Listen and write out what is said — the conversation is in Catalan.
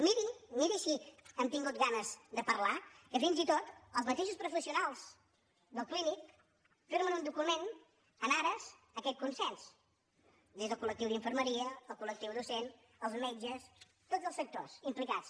miri miri si han tingut ganes de parlar que fins i tot els mateixos professionals del clínic firmen un document en ares d’aquest consens des del col·lectiu d’infermeria el col·cats